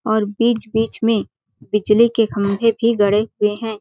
और बीच-बीच में बिजली के खम्भे भी गड़े हुए हैं ।